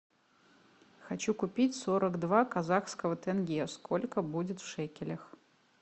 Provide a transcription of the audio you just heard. хочу купить сорок два казахских тенге сколько будет в шекелях